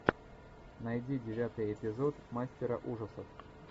найди девятый эпизод мастера ужасов